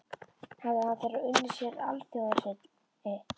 Hafði hann þegar unnið sér alþjóðarhylli.